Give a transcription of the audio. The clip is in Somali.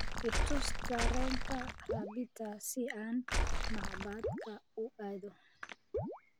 i tus tareenka rabita si aan macbadka u aado